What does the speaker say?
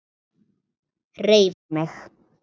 HREYFA MIG!